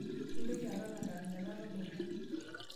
Mintoki aton adaladala tobora.